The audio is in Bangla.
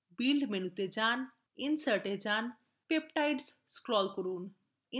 build মেনুতে যান এবং peptide এ scroll করুন